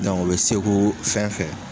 u bɛ seko fɛn fɛn.